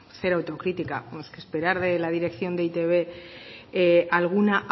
cero autocrítica bueno es que esperar de la dirección de e i te be alguna